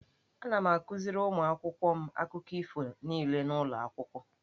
Ana m akuziri ụmụ akwụkwọ m akụkọ ifo niile n'ụlọ akwụkwọ.